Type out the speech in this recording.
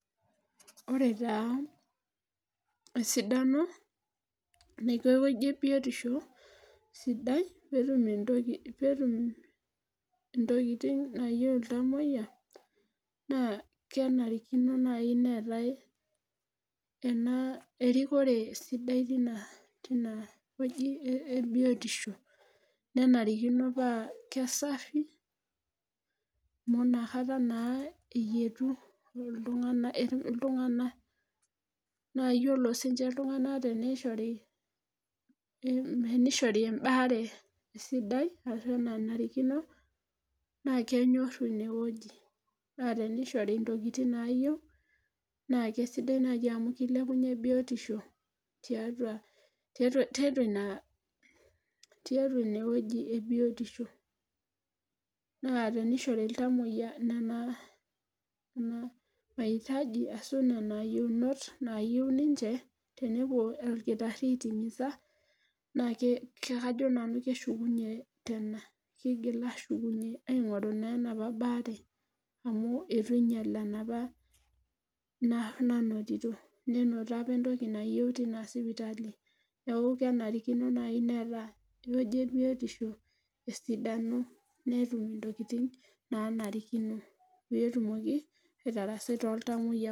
ore taa esidano naiko ewueji ebiotisho sidai pee etum intokitin naayieu iltamoyia, naa kenarikino naaji neetae erikore sidai teina toki ebiotisho. nenarikino paa kisafi, amu inakata aeyietu iltunganak. naa iyiolo sii ninche iltunganak tenishori ebaare nanrikino naa kenyoru in wueji, naa teneishori ntokitin naayieu naa kisidai naaji amu kilepunye biotisho tiatua ine wueji ebiotisho. naa teneishori iltamoyia nena maitaji ashu nena yiounot naayieu ninche tenepuo olkitari aitisa, naa kajo nanu keshukunye tena kigil aapuonu aing'oru naaa enapa baare amu, eitu ing'iel enapa nanotito. nenoto apa entoki nayieu tenia sipitali. neeku kenarikino naaji neeta ewueji ebiotisho, esidano netum ntokitin naanarikino. pee etumoki atarasai toooltamoyiak.